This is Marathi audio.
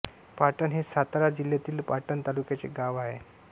पाटण हे सातारा जिल्ह्यातील पाटण तालुक्याचे गाव आहे